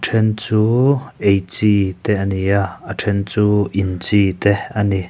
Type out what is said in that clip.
ṭhen chu ei chi te a ni a a ṭhen chu in chi te a ni.